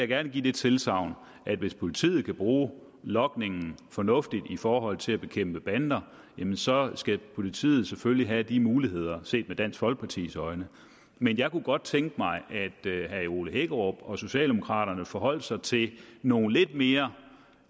gerne give det tilsagn at hvis politiet kan bruge logningen fornuftigt i forhold til at bekæmpe bander så skal politiet selvfølgelig have de muligheder set med dansk folkepartis øjne men jeg kunne godt tænke mig at herre ole hækkerup og socialdemokraterne forholdt sig til nogle lidt mere